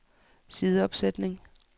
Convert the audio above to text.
sideopsætning